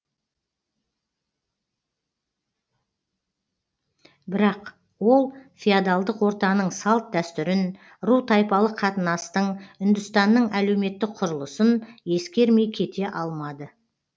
бірақ ол феодалдық ортаның салт дәстүрін ру тайпалық қатынастың үндістанның әлеуметтік құрылысын ескермей кете алмады